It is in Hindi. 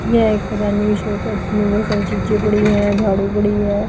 ये एक शॉप है जिसमें बहुत सारी चीजें पड़ी है झाड़ू पड़ी है।